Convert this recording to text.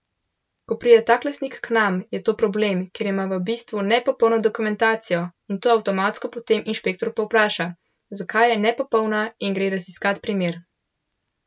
Ko pride tak lastnik k nam, je to problem, ker ima v bistvu nepopolno dokumentacijo in to avtomatsko potem inšpektor povpraša, zakaj je nepopolna in gre raziskat primer.